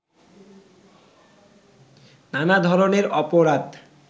নানা ধরনের অপরাধ